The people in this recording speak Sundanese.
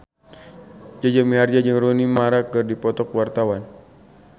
Jaja Mihardja jeung Rooney Mara keur dipoto ku wartawan